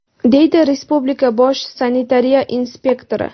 deydi respublika bosh sanitariya inspektori.